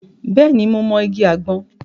Bẹ́ẹ̀ ni, mo mọ igi àgbọn.